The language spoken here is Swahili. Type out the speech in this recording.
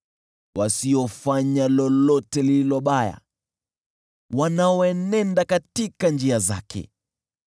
Wasiofanya lolote lililo baya, wanaoenenda katika njia zake.